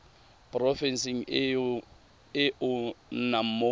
porofenseng e o nnang mo